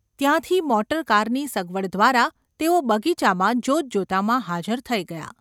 ત્યાંથી મોટરકારની સગવડ દ્વારા તેઓ બગીચામાં જોતજોતામાં ​ હાજર થઈ ગયાં.